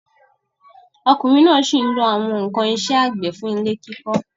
Ọkùnrin náà sí n lo àwọn ǹkan isẹ́ àgbẹ̀ fún ilẹ̀ kíkọ rẹ̀